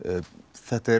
þetta er